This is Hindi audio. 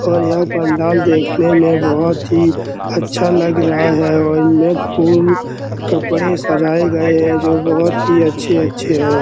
और यह पंडाल देखने में बहुत ही अच्छा लग रहा है और इनमे फूल कपड़े सजाए गए है जो बहुत अच्छे-अच्छे है।